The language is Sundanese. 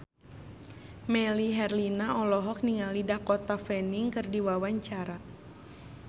Melly Herlina olohok ningali Dakota Fanning keur diwawancara